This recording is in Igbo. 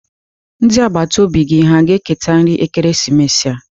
Ndị agbata obi gị hà ga-eketa nri ekeresimesi a?